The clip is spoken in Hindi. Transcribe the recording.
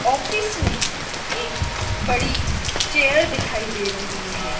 ऑफिस में एक बड़ी चेयर दिखाई दे रही है।